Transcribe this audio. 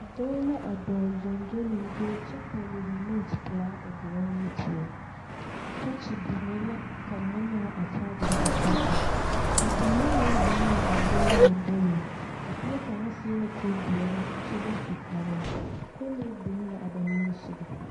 Dɔɔ la a dɔɔ gyoŋgyologyo kyɛ pɛgle remote pelaa o doroŋ nu poɔ. Tɔɔkye binnee la ka ŋmenaa a kyaagyere a tɔɔkyeŋ. Bibiiri meŋ zeŋ la a dɔɔ lamboreŋ. A bie kaŋ seɛ la kurdoɔre kyɛ ba su kparoŋ. Kolee biŋ la a ba niŋe sɔgɔ.